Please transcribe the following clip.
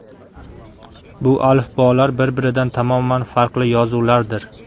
Bu alifbolar bir-biridan tamoman farqli yozuvlardir.